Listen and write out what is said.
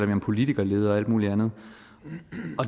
vi om politikerlede og alt muligt andet